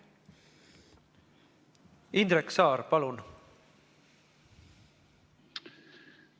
Indrek Saar, palun!